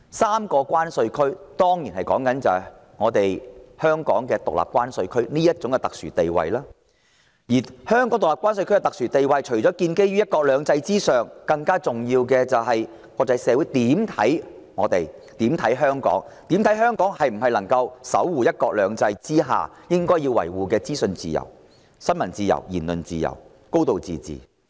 三個關稅區之一當然是指香港獨立關稅區這種特殊地位，而香港獨立關稅區的特殊地位除了建基於"一國兩制"之上，更重要的是國際社會對香港的看法——究竟香港能否守護"一國兩制"下應當維護的資訊自由、新聞自由、言論自由及"高度自治"。